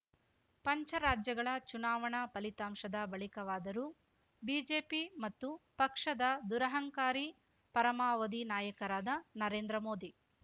ಪಂಚರಾಜ್ಯಗಳ ಚುನಾವಣಾ ಫಲಿತಾಂಶದ ಬಳಿಕವಾದರೂ ಬಿಜೆಪಿ ಮತ್ತು ಪಕ್ಷದ ದುರಂಹಕಾರಿ ಪರಮಾವಧಿ ನಾಯಕರಾದ ನರೇಂದ್ರ ಮೋದಿ